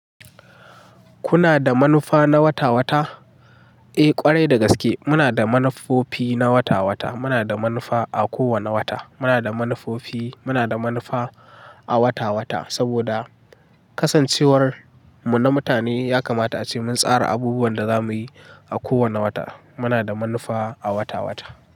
Kuna da manufa na wata wata? Eh ƙwarai da gaske muna da manufofi na wata-wata. Muna da manufa a kowanne wata. Muna da manufofi, muna da manufa a wata-wata saboda kasancewar mu na mutane yakamata ace mun tsara abubuwan da zamuyi a kowane wata. Muna da manufa a wata-wata.